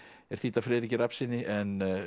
er þýdd af Friðriki Rafnssyni en